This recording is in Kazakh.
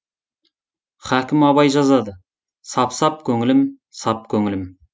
хакім абай жазады сап сап көңілім сап көңілім